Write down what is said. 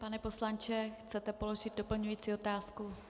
Pane poslanče, chcete položit doplňující otázku?